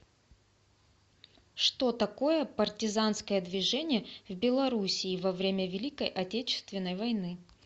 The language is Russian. что такое партизанское движение в белоруссии во время великой отечественной войны